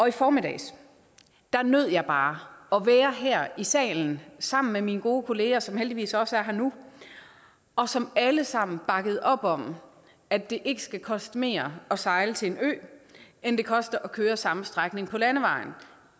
i formiddag nød jeg bare at være her i salen sammen med mine gode kolleger som heldigvis også er her nu og som alle sammen bakkede op om at det ikke skal koste mere at sejle til en ø end det koster at køre samme strækning på landevejen